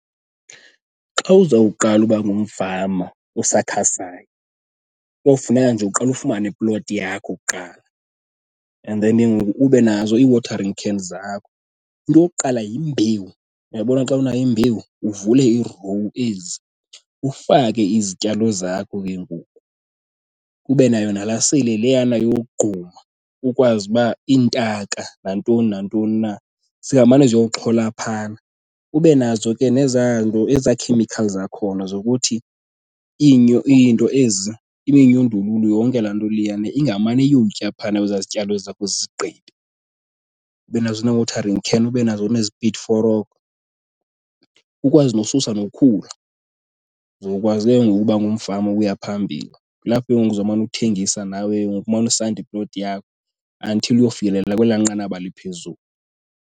Xa uzawuqala uba ngumfama osakhasayo kowufuneka nje uqale ufumane iploti yakho kuqala and then ke ngoku ube nazo ii-watering can zakho. Into yokuqala yimbewu. Uyabona xa unayo imbewu, uvule iirowu ezi ufake izityalo zakho ke ngoku. Ube nayo nala seyile leyana yogquma ukwazi uba iintaka nantoni nantoni na zingamane ziyoxhola phaana. Ube nazo ke nezaa nto, ezaa chemicals zakhona zokuthi iinto ezi, iminyundululu yonke laa nto leyana ingamane iyotya phaana kwezaa zityalo zakho zizigqibe. Ube nazo nee-watering can, ube nazo neespidi forokho, ukwazi nosusa nokhula, uzokwazi ke ngoku ukuba ngumfama oya phambili. Kulapho ke ngoku uzawumane uthengisa nawe kengoku, umane usanda iploti yakho until uyofikelela kwelaa nqanaba liphezulu.